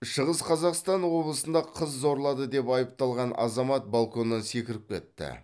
шығыс қазақстан облысында қыз зорлады деп айыпталған азамат балконнан секіріп кетті